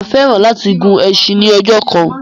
Mà á fẹ́ràn láti gun ẹsin ní ọjọ́ kan.